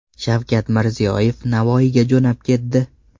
Shavkat Mirziyoyev Navoiyga jo‘nab ketdi.